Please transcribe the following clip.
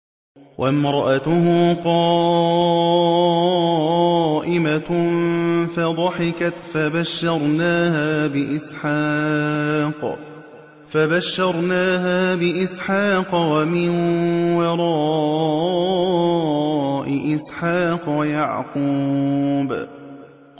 وَامْرَأَتُهُ قَائِمَةٌ فَضَحِكَتْ فَبَشَّرْنَاهَا بِإِسْحَاقَ وَمِن وَرَاءِ إِسْحَاقَ يَعْقُوبَ